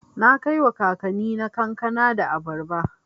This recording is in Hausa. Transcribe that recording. Na kaiwa kakannina kankana da abarba.